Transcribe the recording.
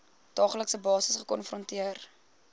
daaglikse basis gekonfronteer